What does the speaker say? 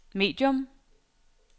medium